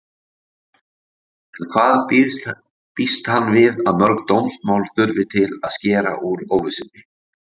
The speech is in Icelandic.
En hvað býst hann við að mörg dómsmál þurfi til að skera úr óvissunni?